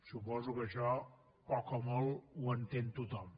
suposo que això poc o molt ho entén tothom